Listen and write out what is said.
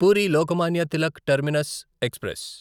puri Lokmanya Tilak terminus express